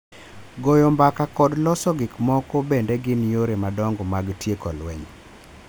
Goyo mbaka kod loso gik moko bende gin yore madongo mag tieko lweny.